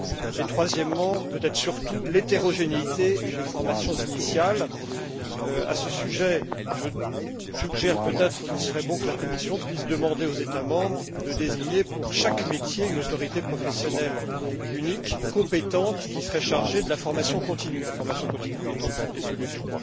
Et la troisième, c'est peut être l'hétérogénéité des formations initiales. À ce sujet, je pense qu'il serait bon que la Commission demande aux États membres de désigner, pour chaque métier, une autorité professionnelle unique, compétente, qui serait chargée de la formation continue la formation continue étant une des solutions.